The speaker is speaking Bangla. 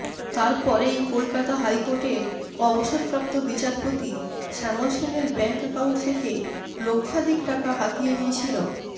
তার পরেই কলকাতা হাইকোর্টের অবসরপ্রাপ্ত বিচারপতি শ্যামল সেনের ব্যাঙ্ক অ্যাকাউন্ট থেকে লক্ষাধিক টাকা হাতিয়ে নিয়েছিল